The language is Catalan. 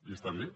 i està bé